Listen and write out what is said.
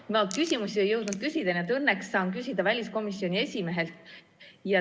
Ma ei jõudnud küsida, õnneks saan küsida väliskomisjoni esimehelt.